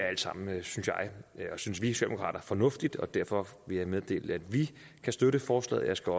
alt sammen er fornuftigt og derfor vil jeg meddele at vi kan støtte forslaget jeg skal